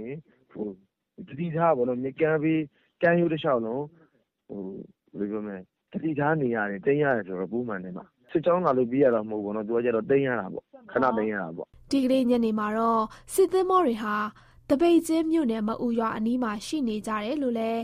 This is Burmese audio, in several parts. ရင် သတိထားပြီး ကမ်းရိုးတလျှောက်လုံး သတိထားနေရပြီး တိမ်းနေရတယ်ဆိုရင် ပိုမှန်တယ်။ စစ်ကြောင်းလာလို့ ပြေးရတာမျိုးမဟုတ်ဘဲ ခဏတိမ်းရတာပေါ့။” ဒီကနေ့ ညနေမှာတော့ စစ်သင်္ဘောတွေဟာ သပိတ်ကျင်းမြို့နယ် မအူရွာအနီးမှာ ရှိနေကြတယ်လို့လည်း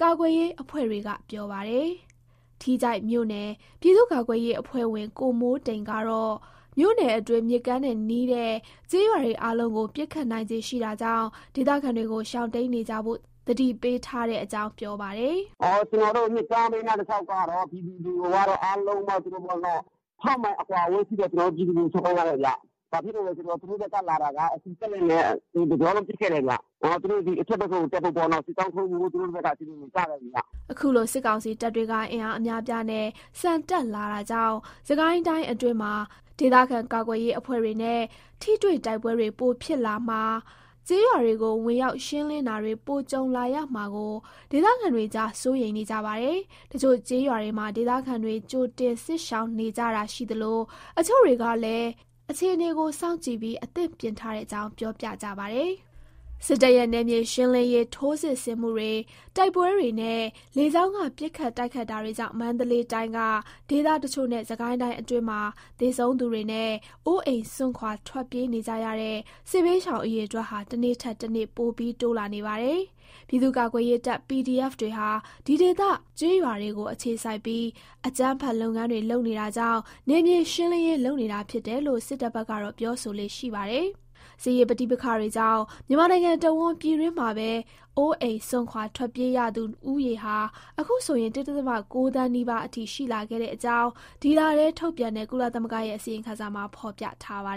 ကာကွယ်ရေးအဖွဲ့တွေက ပြောပါတယ်။ ထီးချိုင့်မြို့နယ် ပြည်သူ့ကာကွယ်ရေးအဖွဲ့ဝင် ကိုမိုးတိမ်ကတော့ မြို့နယ်အတွင်း မြစ်ကမ်းနဲ့နီးတဲ့ ကျေးရွာတွေ အားလုံးကို ပစ်ခတ်နိုင်ခြေ ရှိတာကြောင့် ဒေသခံတွေကို ရှောင်တိမ်းနေကြဖို့ သတိပေးထားတဲ့အကြောင်း ပြောပါတယ်။ “ကျနော်တို့ မြစ်ကမ်းဘေးနား တလျှောက်က ပြည်သူတွေကိုကတော့ အားလုံးကိုပေါ့နော်။ ပစ်မယ့် အကွာအဝေးရှိတဲ့ နေရာက ပြည်သူတွေကို တော့ ထွက်ခိုင်းထားတယ်ဗျ။ ဘာဖြစ်လို့လဲဆိုတော့ အခု သူတို့ဘက်က လာတာက စက်လှေနဲ့ တကြောလုံး ပစ်ခဲ့တယ်ဗျ။ သူတို့ ဒီအဘက်ဘက်ကို တက်ဖို့ပေါ့နော်။ စစ်ကြောင်းထိုးဖို့ စီစဥ်နေကြတယ် ထင်တယ်ဗျ။” ခုလို စစ်ကောင်စီတပ်တွေက အင်အားအများအပြားနဲ့ ဆန်တက်လာတာကြောင့် စစ်ကိုင်းတိုင်းအတွင်းမှာ ဒေသကာကွယ်ရေးအဖွဲ့တွေနဲ့ ထိတွေ့တိုက်ပွဲတွေ ပိုဖြစ်လာမှာ၊ ကျေးရွာတွေကို ဝင်ရောက်ရှင်းလင်းတာတွေ ပိုကြုံလာရမှာကို ဒေသခံတွေကြား စိုးရိမ်နေကြပါတယ်။ တချို့ ကျေးရွာတွေမှာ ဒေသခံတွေ ကြိုတင် စစ်ရှောင်နေကြတာ ရှိသလို၊ တချို့တွေကလည်း အခြေအနေကို စောင့်ကြည့်ပြီး အသင့်ပြင်ထားတဲ့အကြောင်း ပြောပြကြပါတယ်။ စစ်တပ်ရဲ့ နယ်မြေရှင်းလင်းရေး ထိုးစစ်ဆင်မှုတွေ၊ တိုက်ပွဲတွေနဲ့ လေကြောင်းက ပစ်ခတ်တိုက်ခိုက် တာတွေကြောင့် မန္တလေးတိုင်းက ဒေသတချို့နဲ့ စစ်ကိုင်းတိုင်းအတွင်းမှာ သေဆုံးသူတွေနဲ့ အိုးအိမ် စွန့်ခွာ ထွက်ပြေးနေကြရတဲ့ စစ်ဘေးရှောင် အရေအတွက်ဟာ တနေ့ထက်တနေ့ ပိုပြီး တိုးလာနေပါတယ်။ ပြည်သူ့ကာကွယ်ရေးတပ် PDF တွေဟာ ဒီဒေသ ကျေးရွာတွေကို အခြေစိုက်ပြီး အကြမ်းဖက် လုပ်ငန်းတွေ လုပ်နေတာကြောင့် နယ်မြေရှင်းလင်းရေး လုပ်နေတာဖြစ်တယ်လို့ စစ်တပ်ဘက်ကတော့ ပြောဆိုလေ့ရှိပါတယ်။ စစ်ရေး ပဋိပက္ခတွေကြောင့် မြန်မာနိုင်ငံတဝန်း ပြည်တွင်းမှာပဲ အိုးအိမ်စွန့်ခွာ ထွက်ပြေးရသူဦးရေဟာ အခုဆိုရင် ၁ ဒဿမ ၉ သန်းနီးပါးအထိ ရှိလာတဲ့အကြောင်း ဒီလထဲ ထုတ်ပြန်တဲ့ ကုလသမဂ္ဂရဲ့ အစီရင်ခံစာမှာ ဖော်ပြထားပါ